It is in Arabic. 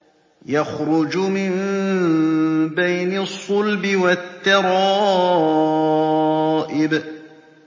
يَخْرُجُ مِن بَيْنِ الصُّلْبِ وَالتَّرَائِبِ